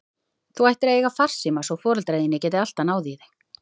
Þú ættir að eiga farsíma svo foreldrar þínir geti alltaf náð í þig.